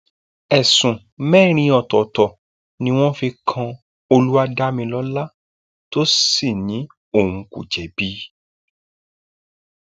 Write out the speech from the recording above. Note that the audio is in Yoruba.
ẹsùn mẹrin ọtọọtọ ni wọn fi kan olúwadámilọlá tó sì ní òun kò jẹbi